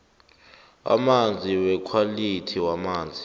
amazinga wekhwalithi yamanzi